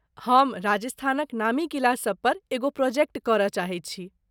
हम राजस्थानक नामी किला सभपर एगो प्रोजेक्ट करय चाहैत छी।